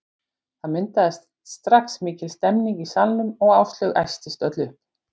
Það myndaðist strax mikil stemning í salnum og Áslaug æstist öll upp.